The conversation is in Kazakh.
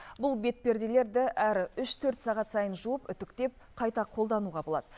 бұл бетперделерді әр үш төрт сағат сайын жуып үтіктеп қайта қолдануға болады